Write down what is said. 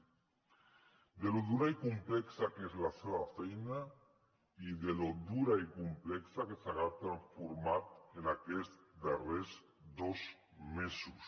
de com és de dura i complexa la seva feina i de com de dura i complexa s’ha transformat en aquests darrers dos mesos